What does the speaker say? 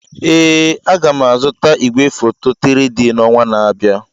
Ee, m ga-azụta igwefoto 3-D na ọnwa na-abịa.